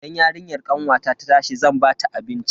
Idan yarinyar kanwata ta tashi zan bata abinci.